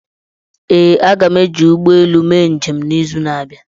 ee, aga m eji ụgbọ elu mee njem n'izu na-abịa